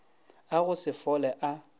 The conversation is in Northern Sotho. a go se fole a